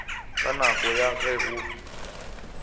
ka nako ya ge go